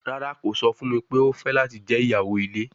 Rara, ko sọ fun mi pe o fẹ lati jẹ iyawo ile